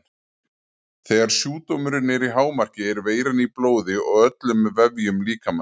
Þegar sjúkdómurinn er í hámarki er veiran í blóði og öllum vefjum líkamans.